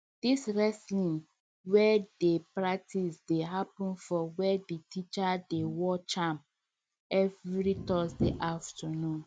di wrestling wey dem practice dey happen for where the teacher dey watch am every thursday afternoon